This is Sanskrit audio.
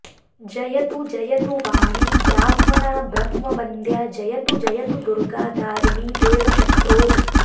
जयतु जयतु वाणी ब्राह्मणा ब्रह्मवन्द्या जयतु जयतु दुर्गा दारिणी देवशत्रोः